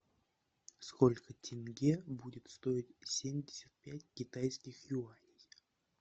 сколько тенге будет стоить семьдесят пять китайских юаней